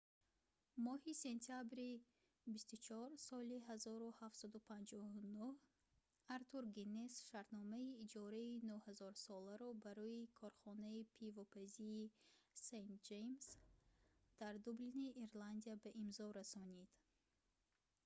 моҳи сентябри 24 соли 1759 артур гиннес шартномаи иҷораи 9000 соларо барои корхонаи пивопазии st james дар дублини ирландия ба имзо расонид